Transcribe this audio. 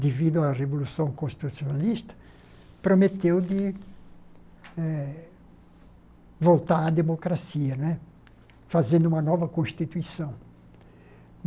devido à Revolução Constitucionalista, prometeu eh de voltar à democracia né, fazendo uma nova Constituição.